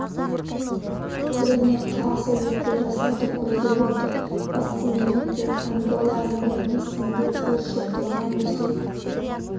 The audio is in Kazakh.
түріне қарсы екпе жасауды көздеп отыр вакцинамен тек ангола ғана емес індет өршіп тұрған өзге